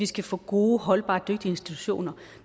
skal få gode og holdbare institutioner